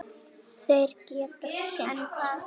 Þeir geta synt.